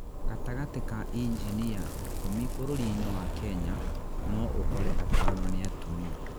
gatagatĩ ka injinia ikũmi bũrũri-nĩ wa Kenya no ũkore atano nĩ atumia